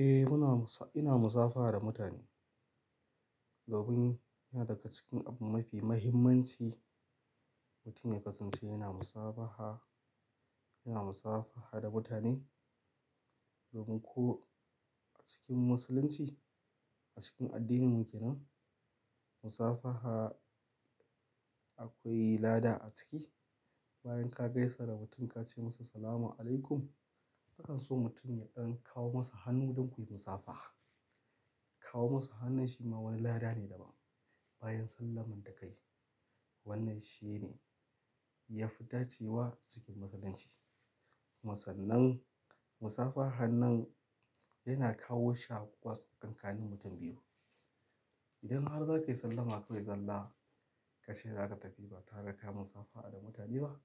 Eh muna musa-- ina musafaha da mutane. Domin yana daga cikin abu mafi mahimmanci mutum ya kasance yana musabaha, yana musafaha da mutane. Domin ko a cikin musulunci, a cikin addinin kenan, musafaha akwai lada a ciki. Bayan ka gaisa da mutum ka ce masa "salam aleikum", kakan so mutum ya ɗan kawo masa hannu don kuyi musafaha. Kawo masa hannun shi ma wani lada ne daban bayan sallamar da ka yi. Wannan shi ne ya fi dacewa cikin musulunci. Kuma sannan, musafaha hanan yana kawo shaƙuwa tsakanin mutum biyu. Idan har zaka yi sallama kawai zalla ka ce za ka tafi ba tare ka yi musafaha da mutane ba,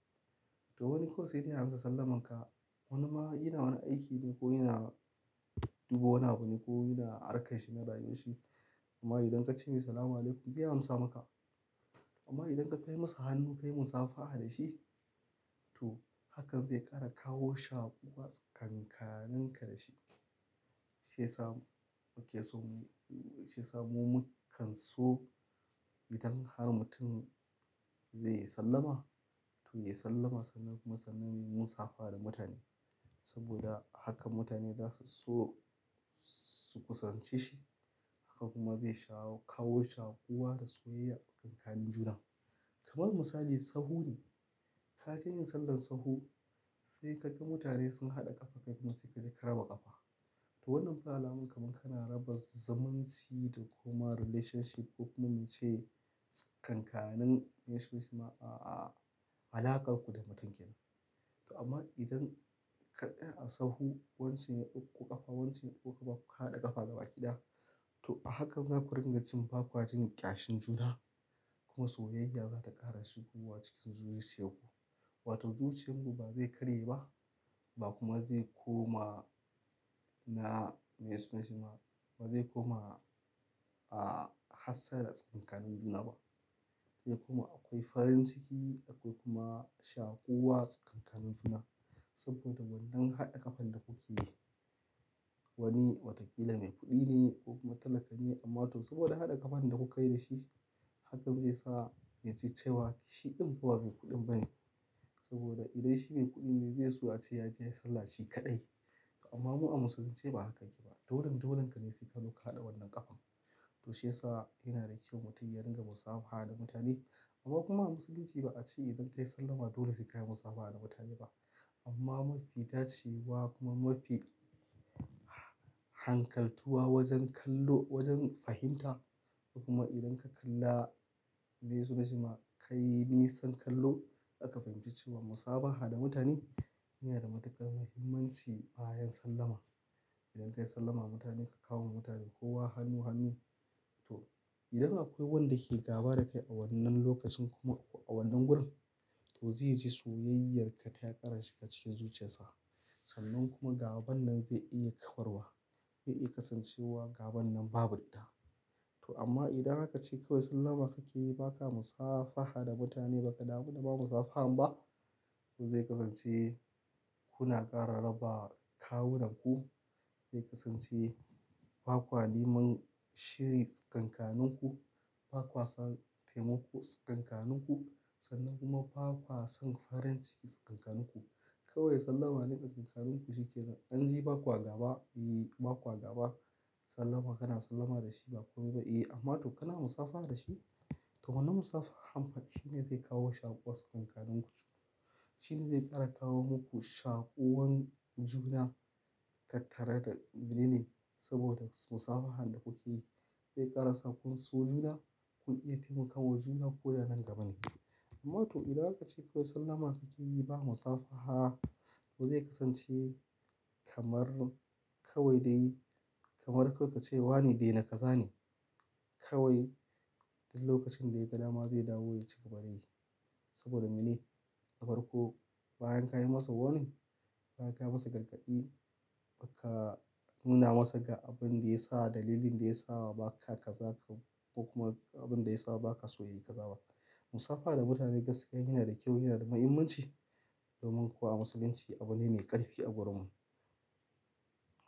to wani ko sai dai ya amsa sallamar ka. Wani ma yana wani aiki ne ko yana dubo wani abu ne ko yana arka shi na rayo shi. Amma idan ka ce masa "salam aleikum" zai amsa maka. Amma idan ka kai masa hannu ka yi musafaha da shi, to hakan zai ƙara kawo shaƙuwa tsakanin ka da shi. Shi ya sa muke so mi-- shi ya sa mu kan so idan har mutum zai yi sallama, to ya yi sallama sannan kuma sannan muyi musafaha da mutane. Saboda hakan mutane za su so su kusanci shi. Haka kuma zai shaa-- kawo shaƙuwa da soyayya tsakanin juna. Kamar misali, sahu ne. Ka je yin sallan sahu sai ka ga mutane sun haɗa ƙafa kai kuma sai ka je ka raba ƙafa. To wannan alaman kamar kana raba zumunci da kuma relationship ko kuma mu ce tsakankanun, me su na shi ma, a alaƙar ku da mutun gidan. To amma idan kaɗai a sahu wance ya ɗauko ƙafa wance ya ɗauko ƙafa kuka haɗa ƙafa da bakida, to a hakan za ku ringa cin bakwa jin ƙyashin juna. Kuma soyayya za ta ƙara shigowa cikin zuciyar ku. Wato zuciyar ku ba zai karye ba ba kuma zai koma na, me su na shi ma, ba zai koma a hassala tsakanin juna ba. Sai kuma akwai farin ciki akwai kuma shaƙuwa tsakanin juna. Saboda wannan haɗa ƙafan da kuke wani watakila mai kuɗi ne ko kuma talaka ne amma to saboda haɗa ƙafan da kuka yi da shi hakan zai sa ya ji cewa shi ɗin kuwa bai kuɗin ba ne. Saboda idan shi mai kuɗi ne be so a ce ya je yayi salla shi kaɗai. Amma mu a musulunci ba haka ake ba. Dolin dolin ka ne sai ka zo ka haɗa wannan ƙafan. To shi ya sa yana da kyau mutum ya ringa musafaha da mutane. Amma kuma a musulunci ba a ce idan ka yi sallama dole su ka yi musafaha da mutane ba. Amma mafi dacewa kuma mafi hankaltuwa wajen kallo wajen fahimta kuma idan ka kalla me su na shi ma ka yi nisan kallo aka fahimci cewa musafaha da mutane yana da matukar muhimmanci bayan sallama. Idan ka yi sallama da mutane ka kawo wa mutane kowa hannu hannu, to idan akwai wanda ke gaba da kai a wannan lokacin kuma a wannan wurin to zai ji soyayyarka ta ƙarashi ka ce zuciyar sa. Sannan kuma gaban nan zai iya ka warwa. Zai iya kasancewa gaban nan babu ita. To amma idan aka ce kawai sallama kake yi ba ka musafaha da mutane ba ka damu da ba musafaha ba, to zai kasance kuna ƙara raba kawunanku. Zai kasance bakwa neman shiri tsakanin ku, bakwa sa taimako tsakanin ku sannan kuma bakwa san farin ciki tsakanin ku. Kawai sallama ne tsakanin ku shikenan. An ji bakwa gaba, eh bakwa gaba. Sallama kana sallama da shi ba komai ba eh. Amma to kana musafaha da shi? To wannan musafahan fa shi ne zai kawo shaƙuwa tsakanin ku. Shi ne zai ƙara kawo muku shaƙuwan juna tattare da, mene ne, saboda musafahan da kuke yi zai ƙara sakun so juna. Kun iya taimakawa juna ko da nan gaba ne. Amma to idan haka ce kawai sallama kake yi ba musafaha to zai kasance kamar kawai dai kamar kawai ka ce wane dai na ka zane. Kawai idan lokacin da ya ga nama zai dawo ya cigaba da yi. Saboda mene? A farko bayan ka yi masa warning, bayan ka yi masa gargaɗi, baka nuna masa ga abin da ya sa dalilin da ya sawa ba ka ka zaka ko kuma abin da ya sawa ba ka so yayi ka zaba. Musafaha da mutane gaskiya yana da kyau yana da muhimmanci. Domin kuwa a musulunci abu ne mai ƙarfi a gurin mu.